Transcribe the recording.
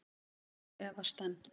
Og efast enn.